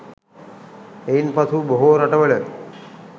එයින් පසු බොහෝ රටවල